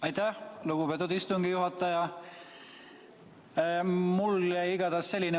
Aitäh, lugupeetud istungi juhataja!